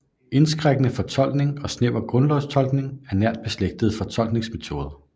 Indskrænkende fortolkning og snæver grundlovsfortolkning er nært beslægtede fortolkningsmetoder